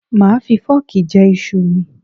Màá fi fọ́ọ̀kì jẹ iṣu ù mi.